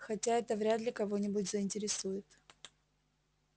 хотя это вряд ли кого-нибудь заинтересует